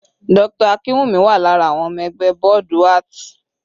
Dr. Akinwumi wà lára àwọn ọmọ ẹgbẹ́ bọ́ọ̀dù art.